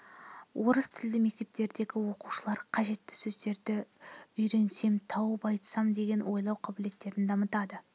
орыс тілді мектептердегі оқушылар қажетті сөздерді үйренсем тауып айтсам деген ойлау қабілеттерін дамытады